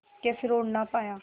के फिर उड़ ना पाया